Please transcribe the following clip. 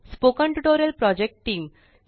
spoken tutorial project team